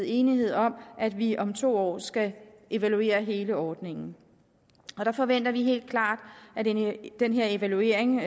enighed om at vi om to år skal evaluere hele ordningen og der forventer vi helt klart at den her evaluering